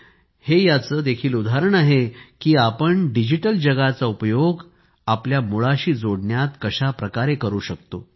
हे याचं देखील उदाहरण आहे की आपण कसा डिजिटल जगाचा उपयोग आपल्या मुळाशी जोडण्यात करू शकतो